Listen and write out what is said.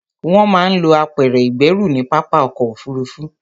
Wọ́n máa ń lo apẹ̀rẹ̀ ìgbẹ́rù ní pápá ọkọ̀ òfuruufú.